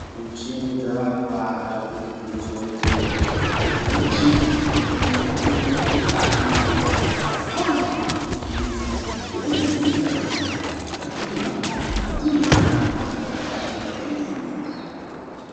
Michini dzakakwana zvinovhundusa nesuwo zvekuti kune michini yekuti unokwanisa kona zviri mukati mwemwiri wako aaaa zvinovhundutsa kuona zviri kukati mukati mwemabhonzo mukati mwenya haaa zvakahlamburika kwemene.